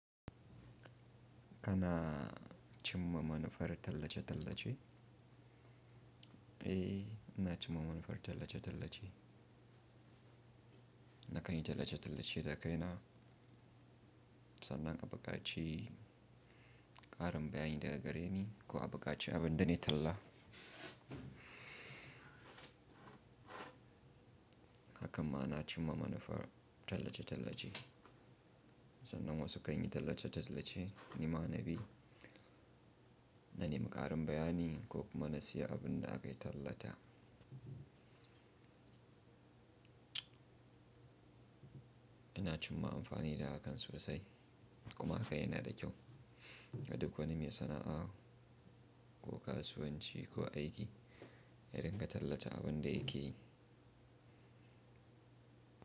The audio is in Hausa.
Kana cimma manufar tallace-tallace? Eh, ina cimma manufar tallace-tallace. Na kanyi tallace-tallace dakaina, sannan abuƙaci ƙarin bayani daga gare ni ko abuƙaci abin da ne talla. Hakan ma na cimma manufar tallace-tallace. Sannan wasu kanyi tallace-tallace, ni ma na bi, na nemi ƙarin bayani ko kuma na siya abin da akayi tallata. Ina cimma amfani da haka sosai kuma haka yana da kyau ga duk wani mai sana'a ko kasuwanci ko aiki ya dinga tallata abin da yake yi.